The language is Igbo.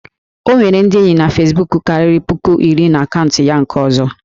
O nwere ndị enyi fesbuku karịrị puku iri na akaụntụ ya nke ọzọ